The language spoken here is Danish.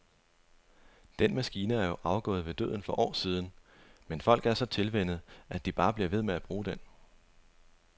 Den maskine er jo afgået ved døden for år siden, men folk er så tilvænnet, at de bare bliver ved med at bruge den.